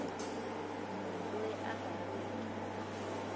munhu loyi a nga riki